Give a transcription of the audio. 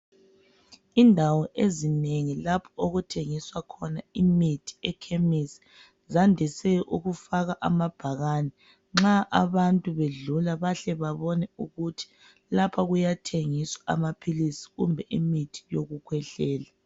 Indawo ezinengi lapho okuthengiswa khona imithi ekhemisi zandise ukufaka amabhakane, nxa abantu bedlula bahle babone ukuthi lapha kuyathengiswa amaphilisi kumbe imithi okukhwehlela.